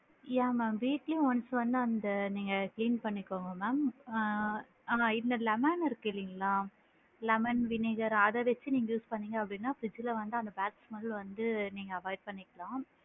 யா mam weekly once வந்து அந்த நீங்க clean பண்ணிக்கோங்க ma'am ஆ இந்த lemon இருக்குது இல்லைங்களா lemon vinegar அத வச்சு நீங்க use பண்ணுனிங்க அப்படின்னா fridge ல வந்து அந்த bad smell வந்து நீங்க avoid பண்ணிக்கலாம்.